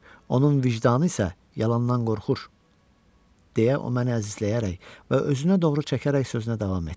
Onun vicdanı isə yalandan qorxur, deyə o məni əzizləyərək və özünə doğru çəkərək sözünə davam etdi.